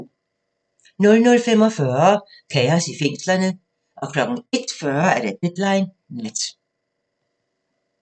00:45: Kaos i fængslerne 01:40: Deadline Nat